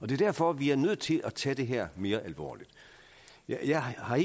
det er derfor vi er nødt til at tage det her mere alvorligt jeg har